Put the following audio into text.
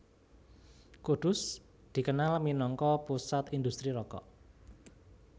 Kudus dikenal minangka pusat indhustri rokok